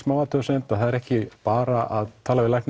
athugasemd það er ekki bara að tala við